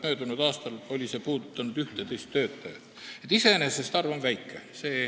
Möödunud aastal oli see puudutanud 11 töötajat, nii et iseenesest on see arv väike.